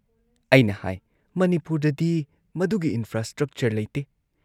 ꯑꯩꯅ ꯍꯥꯏ‑ "ꯃꯅꯤꯄꯨꯔꯗꯗꯤ ꯃꯗꯨꯒꯤ ꯏꯟꯐ꯭ꯔꯥꯁ꯭ꯇ꯭ꯔꯛꯆꯔ ꯂꯩꯇꯦ ꯫